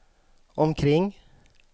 omkring